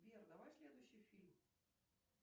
сбер давай следующий фильм